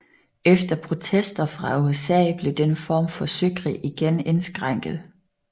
Efter protester fra USA blev denne form for søkrig igen indskrænket